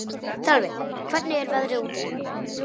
Þjálfi, hvernig er veðrið úti?